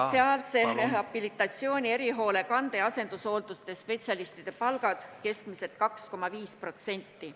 ... sotsiaalse rehabilitatsiooni, erihoolekande ja asendushoolduse spetsialistide palgad keskmiselt 2,5%.